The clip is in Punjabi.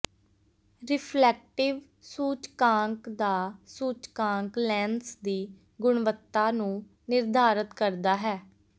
ਰਿਫਲੈਕਟਿਵ ਸੂਚਕਾਂਕ ਦਾ ਸੂਚਕਾਂਕ ਲੈਂਸ ਦੀ ਗੁਣਵੱਤਾ ਨੂੰ ਨਿਰਧਾਰਤ ਕਰਦਾ ਹੈ